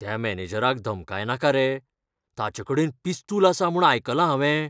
त्या मॅनेजराक धमकायनाका रे. ताचेकडेन पिस्तूल आसा म्हूण आयकलां हावें.